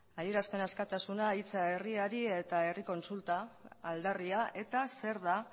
adierazpen askatasuna hitza herriari eta herri kontsulta aldarria eta zer da